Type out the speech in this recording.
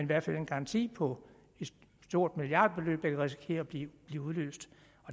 hvert fald en garanti på et stort milliardbeløb der kan risikere at blive udløst